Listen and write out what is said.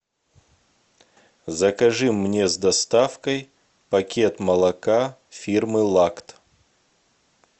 закажи мне с доставкой пакет молока фирмы лакт